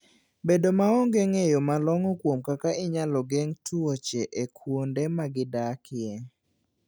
Bedo maonge ng'eyo malong'o kuom kaka inyalo geng' tuoche e kuonde ma gi odakie.